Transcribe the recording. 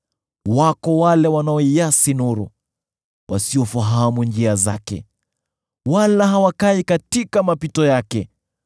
“Wako wale wanaoiasi nuru, wasiofahamu njia zake wala hawakai katika mapito yake.